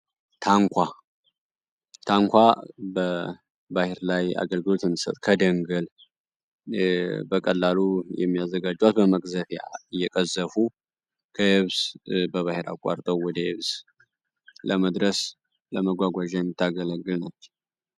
ታንኳ ባህር ላይ አገልግሎት የሚሰጥ ከደንገል በቀላሉ የሚያዘጋጇት በመቅዘፊያ እየቀዘፉ ከህብስ በባሔር አቋርጠው ወደ እብዝ ለመድረስ ለመጓጓዣ የሚታገለግል ነች።